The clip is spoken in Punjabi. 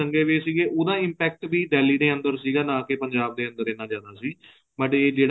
ਦੰਗੇ ਵੀ ਸੀਗੇ ਉਹਦਾ impact ਵੀ Delhi ਦੇ ਅੰਦਰ ਸੀਗਾ ਨਾ ਕੇ ਪੰਜਾਬ ਦੇ ਅੰਦਰ ਇਹਨਾਂ ਨੇ ਆਨਾ ਸੀ but ਇਹ ਜਿਹੜਾ